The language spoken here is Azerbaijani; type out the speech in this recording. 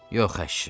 Yox əşi.